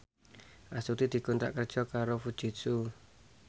Astuti dikontrak kerja karo Fujitsu